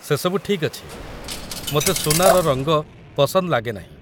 ସେସବୁ ଠିକ୍ ଅଛି, ମୋତେ ସୁନାର ରଙ୍ଗ ପସନ୍ଦ ଲାଗେ ନାହିଁ ।